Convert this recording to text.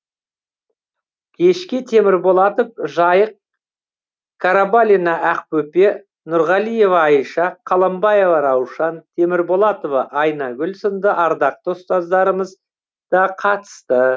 кешке темірболатов жайық қарабалина ақбөпе нұрғалиева айша қаламбаева раушан темірболатова айнагүл сынды ардақты ұстаздарымыз да қатысты